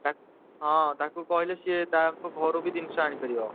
ତା ହଁ ତାକୁ କହିଲେ ସିଏ ତା ଘରୁ ବି ଜିନିଷ ଆଣିପାରିବ।